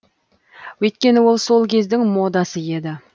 өйткені ол сол кездің модасы еді